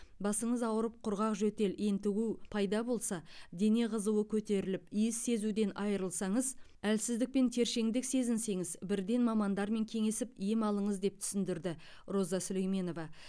басыңыз ауырып құрғақ жөтел ентігу пайда болса дене қызуы көтеріліп иіс сезуден айырылсаңыз әлсіздік пен тершеңдік сезінсеңіз бірден мамандармен кеңесіп ем алыңыз деп түсіндірді роза сүлейменова